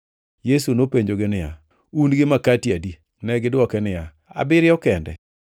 Yesu nopenjogi niya, “Un gi makati adi?” Negidwoke niya, “Abiriyo kende.”